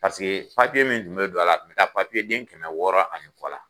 Paseke papiye min tun bɛ don a la, a bɛ taa papiyeden kɛmɛ wɔɔrɔ ani kɔ la!